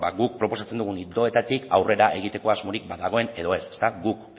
guk proposatzen dugun ildoetatik aurrera egiteko asmorik badagoen edo ez guk